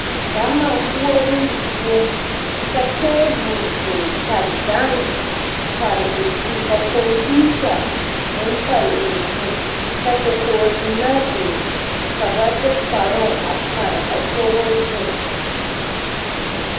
Gama koɔroo zie ka table biŋ ka gan pare o zu ka computer meŋ pare o zu ka dakogziŋmaa biŋ ka ba de kparoŋ a pare a kogo zu.